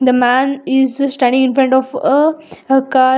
The man is standing in front of uh a car.